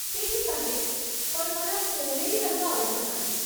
ते ठीक आहे, पण मला सोनेरी रंग आवडत नाही.